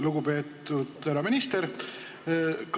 Lugupeetud härra minister!